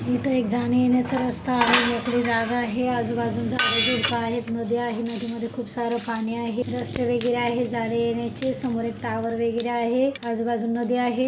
इथे एक जाण्या एण्याच रस्ता आहे मोकळी ज़ागा आहे आजू बाजू ला झाड झुडपे आहेत नदी आहे नदी मध्ये खूप सार पाणी आहे रस्ते वगैर आहे जाण्या येण्याचे समोर एक टावर वगैरे आहे आजू बाजू नदी आहे.